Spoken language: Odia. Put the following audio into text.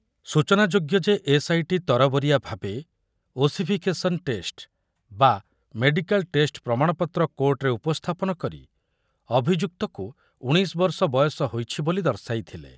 ସୂଚନାଯୋଗ୍ୟ ଯେ, ଏସ୍ଆଇଟି ତରବରିଆ ଭାବେ ଓସିଫିକେସନ ଟେଷ୍ଟ ବା ମେଡିକାଲ ଟେଷ୍ଟ ପ୍ରମାଣପତ୍ର କୋର୍ଟରେ ଉପସ୍ଥାପନ କରି ଅଭିଯୁକ୍ତକୁ ଉଣେଇଶ ବର୍ଷ ବୟସ ହୋଇଛି ବୋଲି ଦର୍ଶାଇଥିଲେ ।